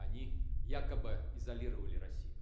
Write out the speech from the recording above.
они якобы изолировали россию